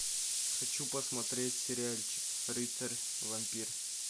хочу посмотреть сериальчик рыцарь вампир